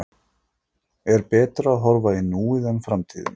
Er betra að horfa í núið en framtíðina?